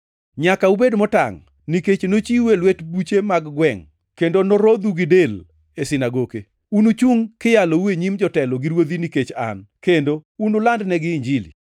“Nyaka ubed motangʼ, nikech nochiwu e lwet buche mag gwengʼ kendo norodhu gi del e sinagoke. Unuchungʼ kiyalou e nyim jotelo gi ruodhi nikech An, kendo unulandnegi Injili.